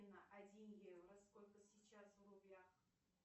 афина один евро сколько сейчас в рублях